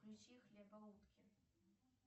включи хлебоутки